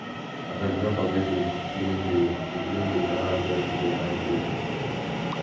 abeg no forget to clean di to clean di corners dirt dey hide there